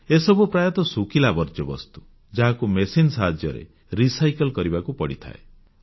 ଏସବୁ ପ୍ରାୟତଃ ଶୁଖିଲା ବର୍ଜ୍ୟବସ୍ତୁ ଯାହାକୁ ମେସିନ ସାହାଯ୍ୟରେ ପୁନଃପ୍ରକ୍ରିୟାକରଣ ବା ରିସାଇକିଲ୍ କରିବାକୁ ପଡ଼ିଥାଏ